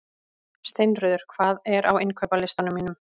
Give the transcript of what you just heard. Steinröður, hvað er á innkaupalistanum mínum?